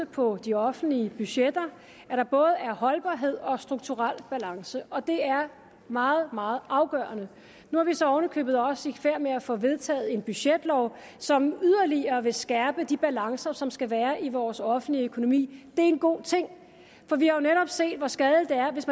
på de offentlige budgetter at der både er holdbarhed og strukturel balance og det er meget meget afgørende nu er vi så oven i købet også i færd med at få vedtaget en budgetlov som yderligere vil skærpe de balancer som skal være i vores offentlige økonomi det er en god ting for vi har jo netop set hvor skadeligt det er hvis